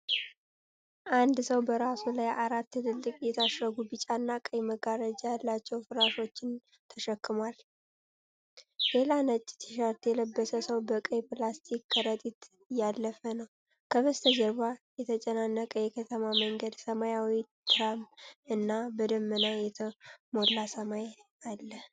አንድ ሰው በራሱ ላይ አራት ትልልቅ የታሸጉ ቢጫና ቀይ መጋረጃ ያላቸው ፍራሾችን ተሸክሟል። ሌላ ነጭ ቲ-ሸርት የለበሰ ሰው በቀይ ፕላስቲክ ከረጢት እያለፈ ነው። ከበስተጀርባ የተጨናነቀ የከተማ መንገድ፣ ሰማያዊ ትራም እና በደመና የተሞላ ሰማይ አለ።